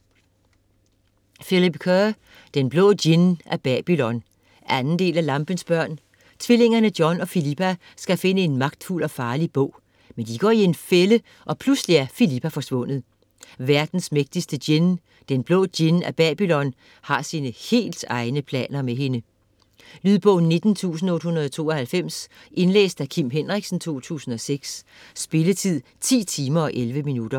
Kerr, Philip: Den Blå Djinn af Babylon 2. del af Lampens børn. Tvillingerne John og Philippa skal finde en magtfuld og farlig bog. Men de går i en fælde, og pludselig er Philippa forsvundet. Verdens mægtigste djinn - Den Blå Djinn af Babylon - har sine helt egne planer med hende. Lydbog 19892 Indlæst af Kim Henriksen, 2006. Spilletid: 10 timer, 11 minutter.